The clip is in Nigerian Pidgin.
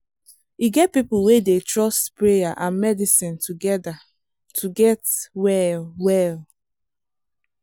e get people wey dey trust prayer and medicine together to get well well.